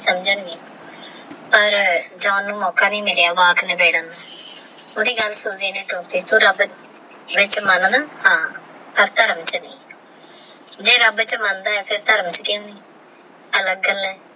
ਪਰ ਜਾਨ ਨੂ ਮੌਕਾ ਨਹੀ ਮਿਲ੍ਤ੍ਯਾ ਵਾਕ ਨਿਬੇੜਨ ਨੂ ਥੋੜੀ ਗੱਲ ਸੁਣਦੇ ਨੇ ਰਬ ਇਚ ਮੰਨ ਹ੍ਕ਼ਸਦਾ ਰਾਵੇ ਸ਼ਰੀਰ ਜੇ ਰੱਬ ਵਿਚ ਮਨਦਾ ਹੈ ਅਲਗ ਗੱਲ ਆਹ